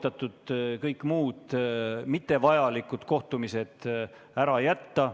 Samuti on kõik muud, mittevajalikud kohtumised soovitatud ära jätta.